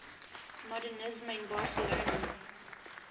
modernisme in barcelona